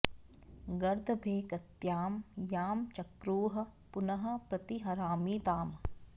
गर्दभे कृत्यां यां चक्रुः पुनः प्रति हरामि ताम्